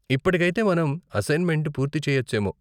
ఇప్పటికైతే, మనం అసైన్మెంట్ పూర్తి చెయ్యొచ్చేమో.